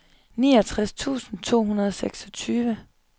niogtres tusind to hundrede og seksogtyve